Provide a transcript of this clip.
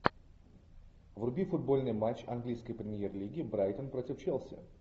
вруби футбольный матч английской премьер лиги брайтон против челси